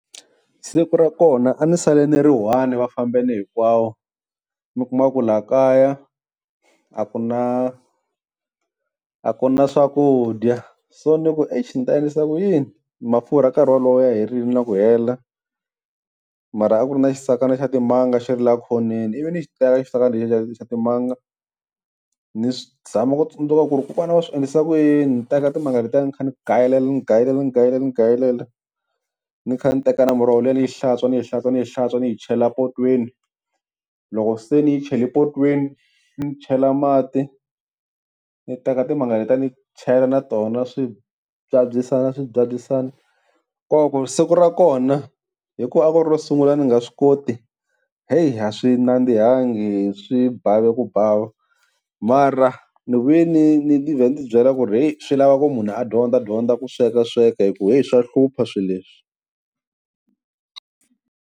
Siku ra kona a ni sale ni ri one va fambini hinkwawo, mi kuma ku la kaya a ku na a ku na swakudya so ni ku exi ni ta endlisa ku yini mafurha nkarhi wolowo ya herile na ku hela, mara a ku ri na xisakana xa timanga xi ri la khoneni ivi ni xi teka xisakana lexi xa xa timanga ni swi ni zama ku tsundzuka ku ri kokwana a va swi endlisa ku yini. Teka timanga letiya ni kha ni gayelela ni gayelela ni gayelela ni gayelela ni kha ni teka na muroho liya ni yi hlantswa, ni yi hlantswa, ni yi hlantswa ni yi chela potweni. Loko se ni yi chele potweni ndzi chela mati ni teka timanga letiya ni chela na tona swi byabyisana swi byabyisana. Kova ku siku ra kona hikuva a ku ri ro sungula a ndzi nga swi koti heyi a swi nandzihangi swi bavi ku bava, mara ni vuye ni ni vhela ni ti byela ku ri heyi swi lava ku munhu a dyondza dyondza ku sweka sweka hi ku heyi swa hlupha swileswi.